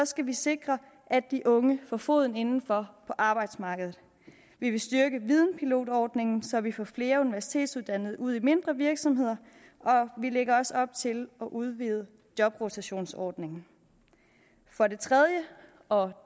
skal vi sikre at de unge får foden indenfor på arbejdsmarkedet vi vil styrke videnpilotordningen så vi får flere universitetsuddannede ud i mindre virksomheder og vi lægger også op til at udvide jobrotationsordningen for det tredje og